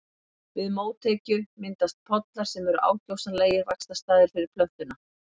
Við mótekju myndast pollar sem eru ákjósanlegir vaxtarstaðir fyrir plöntuna.